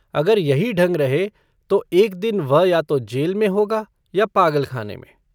अगर यही ढंग रहे तो एक दिन वह या तो जेल में होगा या पागलखाने मे।